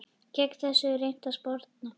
Gegn þessu er reynt að sporna.